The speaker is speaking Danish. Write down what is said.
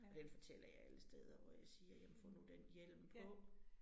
Og den fortæller jeg alle steder, hvor jeg siger jamen få nu den hjelm på